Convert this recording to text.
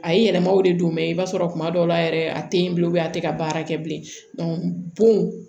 A ye yɛlɛmaw de don mɛ i b'a sɔrɔ kuma dɔw la yɛrɛ a tɛ ye bilen a tɛ ka baara kɛ bilen bon